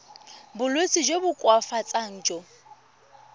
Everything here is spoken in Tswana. bolwetsi jo bo koafatsang jo